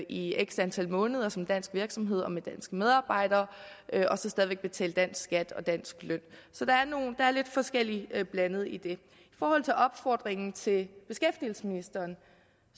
i x antal måneder som dansk virksomhed og med danske medarbejdere og så stadig væk betale dansk skat og dansk løn så der er lidt forskelligt blandet i det i forhold til opfordringen til beskæftigelsesministeren